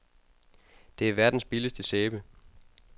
Det er verdens billigste sæbe.